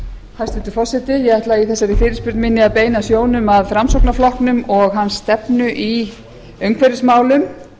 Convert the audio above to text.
hæstvirtur forseti ég ætla í þessari fyrirspurn minni að beina sjónum að framsóknarflokknum og hans stefnu í umhverfismálum